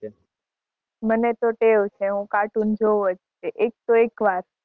મને તો ટેવ છે હું તો કાર્ટૂન જોવું જ એક તો એકવાર.